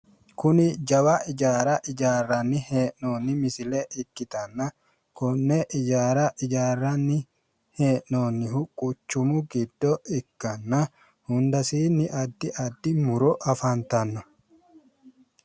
Kuni jawa ijaara ijaarranni hee'noonni misile ikkatanna konne ijaara ijaarranni hee'noonnihu quchumu giddo ikkanna hundasiinni addi addi mu'ro afantanno